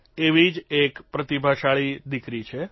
એવી જ એક પ્રતિભાશાળી દિકરી છે